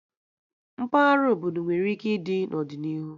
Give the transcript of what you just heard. Mpaghara obodo nwere ike ịdị n'ọdịnihu